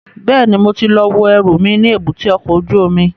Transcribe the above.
Bẹ́ẹ̀ni, mo ti lọ wo ẹrù mi ní èbúté ọkọ̀ ojú omi